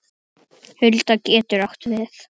Hulda getur átt við